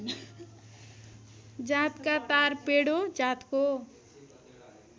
जातका तारपेडो जातको